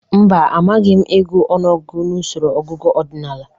Mba, amagịi m ịgụ ọnụọgụgụ n'usoro ọgụgụ ọdịnaala.